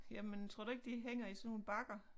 Jamen tror du ikke de hænger i sådan nogle bakker?